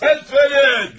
Səs verin!